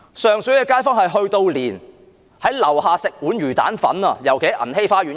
上水的街坊，連到樓下吃魚蛋粉也不可以。